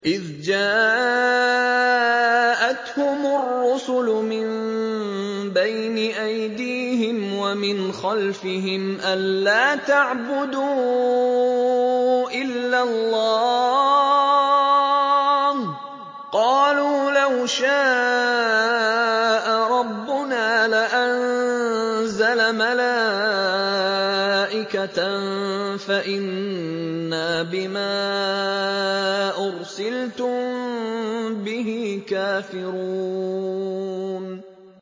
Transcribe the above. إِذْ جَاءَتْهُمُ الرُّسُلُ مِن بَيْنِ أَيْدِيهِمْ وَمِنْ خَلْفِهِمْ أَلَّا تَعْبُدُوا إِلَّا اللَّهَ ۖ قَالُوا لَوْ شَاءَ رَبُّنَا لَأَنزَلَ مَلَائِكَةً فَإِنَّا بِمَا أُرْسِلْتُم بِهِ كَافِرُونَ